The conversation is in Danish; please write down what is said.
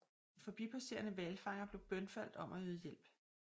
En forbipasserende hvalfanger blev bønfaldt om at yde hjælp